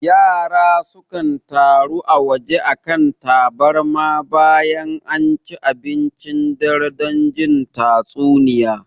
Yara sukan taru a waje a kan tabarma bayan anci abincin dare don jin tatsuniya